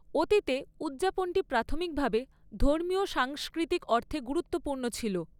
অতীতে উদযাপনটি প্রাথমিকভাবে ধর্মীয় সাংস্কৃতিক অর্থে গুরুত্বপূর্ণ ছিল।